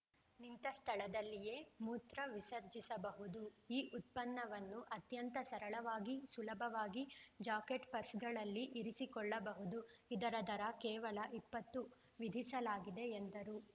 ನಿಂತ ಸ್ಥಳದಲ್ಲಿಯೇ ಮೂತ್ರ ವಿಸರ್ಜಿಸಬಹುದು ಈ ಉತ್ಪನ್ನವನ್ನು ಅತ್ಯಂತ ಸರಳವಾಗಿ ಸುಲಭವಾಗಿ ಜಾಕೆಟ್‌ ಪರ್ಸ್‌ಗಳಲ್ಲಿ ಇರಿಸಿಕೊಳ್ಳಬಹುದು ಇದರ ದರ ಕೇವಲ ಇಪ್ಪತ್ತು ವಿಧಿಸಲಾಗಿದೆ ಎಂದರು